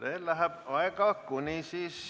Ei ava veel.